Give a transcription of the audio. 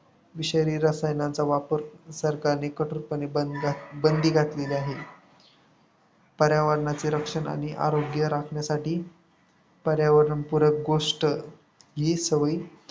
विषारी रसायनांचा वापर सरकारने कठोरपणे बंदी घातलेली आहे. पर्यावरणाचे रक्षण आणि आरोग्य राखण्यासाठी पर्यावरणपुरक गोष्ट ही